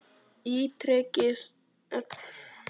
Ítrekaði spurninguna og orðaði hana af meiri nákvæmni.